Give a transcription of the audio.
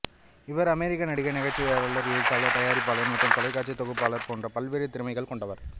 இவர் அமெரிக்க நடிகை நகைச்சுவையாளர் எழுத்தாளர் தயாரிப்பாளர் மற்றும் தொலைக்காட்சி தொகுப்பாளர் போன்ற பல்வேறு திறமைகள் கொண்டவர்